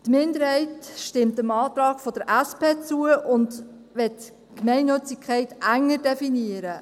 Die Minderheit stimmt dem Antrag der SP zu und will die Gemeinnützigkeit enger definieren.